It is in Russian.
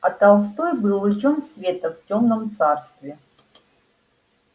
а толстой был лучом света в тёмном царстве